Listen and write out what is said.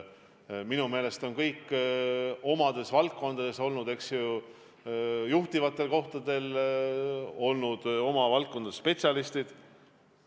Minu meelest on kõik omas valdkonnas olnud juhtivatel kohtadel, nad on oma valdkonna spetsialistid.